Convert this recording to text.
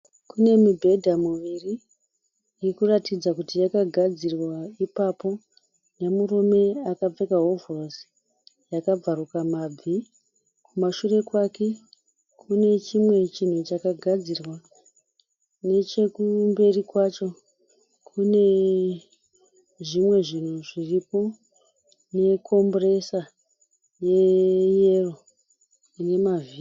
Kune mibhedha miviri irikuratidza Kuti yakagadzirwa ipapo nemurume akapfeka hovhorosi yakabvaruka mabvi. Kumashure kwakwe Kune chimwe chinhu chakagadzirwa. Nechekumberi kwacho Kune zvimwe zvinhu zviriko ne compressor ye yero ine mavhiri .